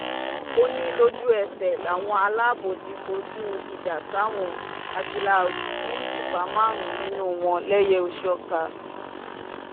ó ní lójú-ẹsẹ̀ làwọn ẹ̀ṣọ́ aláàbò ti kọjú ìjà sáwọn àtìláàwí tí wọ́n sì pa márùn-ún nínú wọn lẹ́yẹ-ò-sọkà